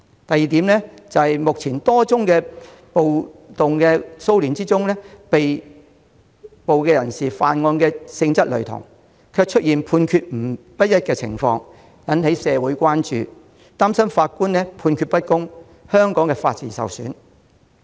第二，在多宗暴動及騷亂事件中，被捕人士犯案的性質類同但判決不一，引起社會人士關注，他們擔心法官判決不公，令法治受損。